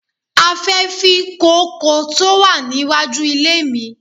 A fẹ́ fí kóókò tí ó wà ní wájú ilé mi.